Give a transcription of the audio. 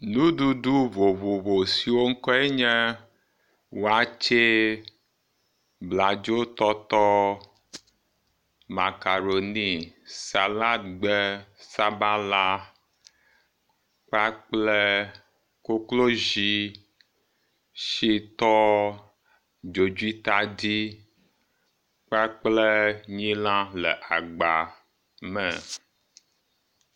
Nuɖuɖu vovovo siwo ŋkɔ enye wakyee, bladzotɔtɔ, makaroni, saladgbe, sabala kpakple koklodzi, shitɔ dzodzitadi kpakple nyilã le agba me.